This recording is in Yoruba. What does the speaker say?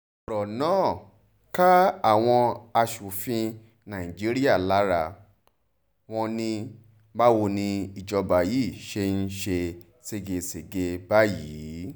ọ̀rọ̀ náà ká àwọn asòfin nàìjíríà lára wọn ní báwo ni ìjọba yìí ṣe ń ṣe ségesège báyìí